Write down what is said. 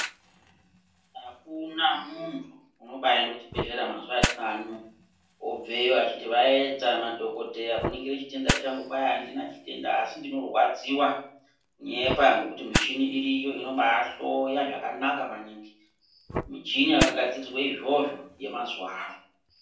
Ukuna munhu unobaaende kuchibhedhlera mazuwa etinawo ano wobveyo achiti vaedza madhokodheya kuningire chitenda changu kwai andina chitenda asi ndinorwadziwa kunyepa, ngekuti michini iriyo inobaahloya zvakanaka maningi, michini yakagadzirirwe izvozvo yemazuwa ano.